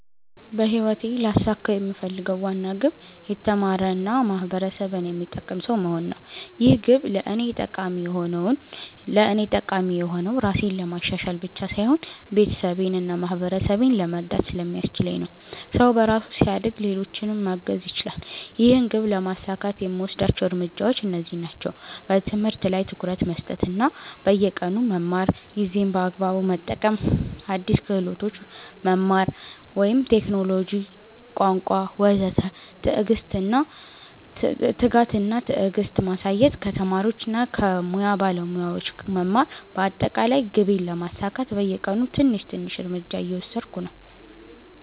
በህይወቴ ልያሳካው የምፈልገው ዋና ግብ የተማረ እና ማህበረሰብን የሚጠቅም ሰው መሆን ነው። ይህ ግብ ለእኔ ጠቃሚ የሆነው ራሴን ለማሻሻል ብቻ ሳይሆን ቤተሰቤን እና ማህበረሰቤን ለመርዳት ስለሚያስችለኝ ነው። ሰው በራሱ ሲያድግ ሌሎችንም ማገዝ ይችላል። ይህን ግብ ለማሳካት የምወስዳቸው እርምጃዎች እነዚህ ናቸው፦ በትምህርት ላይ ትኩረት መስጠት እና በየቀኑ መማር ጊዜን በአግባቡ መጠቀም አዲስ ክህሎቶች መማር (ቴክኖሎጂ፣ ቋንቋ ወዘተ) ትጋት እና ትዕግስት ማሳየት ከተማሪዎች እና ከሙያ ባለሞያዎች መማር በአጠቃላይ ግቤን ለማሳካት በየቀኑ ትንሽ ትንሽ እርምጃ እየወሰድሁ ነኝ።